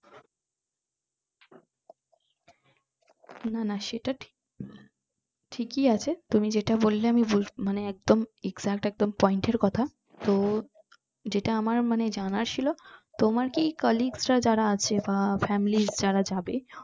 না না সেটা ঠিক ঠিকই আছে তুমি যেটা বললে আমি বুঝ মানে একদম exact একদম point এর কথা তো